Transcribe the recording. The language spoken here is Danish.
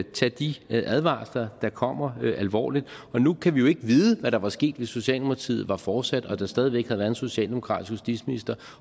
tage de advarsler der kommer alvorligt og nu kan vi jo ikke vide hvad der var sket hvis socialdemokratiet var fortsat og der stadig væk havde været en socialdemokratisk justitsminister